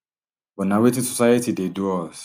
but na wetin society dey do us